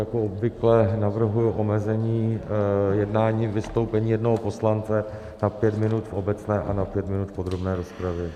Jako obvykle navrhuji omezení jednání - vystoupení jednoho poslance na pět minut v obecné a na pět minut v podrobné rozpravě.